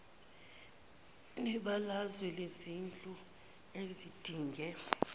nebalazwe lezindlu ezidinge